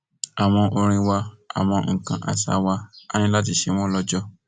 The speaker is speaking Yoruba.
àwọn orin wa àwọn nǹkan àṣà wa á ní láti ṣe wọn lọjọ